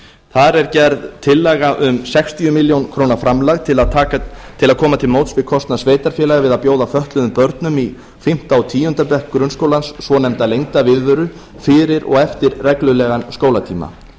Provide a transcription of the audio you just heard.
þar er gerð tillaga um sextíu ár framlag til að koma til móts við kostnað sveitarfélaga við að bjóða fötluðum börnum í fimm og tíunda bekk grunnskólans svonefnda lengda viðveru fyrir og eftir reglulegan skólatíma